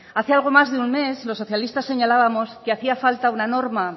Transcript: hace algo más de un mes los socialistas señalábamos que hacía falta una norma